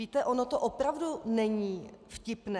Víte, ono to opravdu není vtipné.